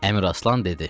Əmiraslan dedi: